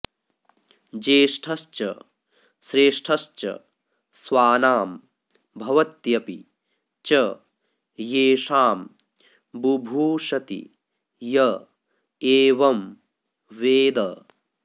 ज्येष्ठश्च श्रेष्ठश्च स्वानां भवत्यपि च येषां बुभूषति य एवं वेद